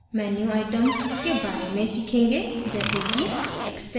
इस tutorial में हम कुछ menu items के बारे में सीखेंगे जैसे कि